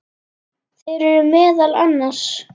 Þeir eru meðal annars